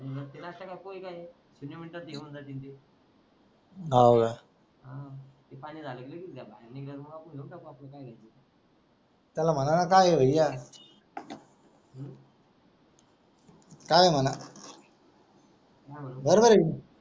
काय म्हणा बरोबर आहे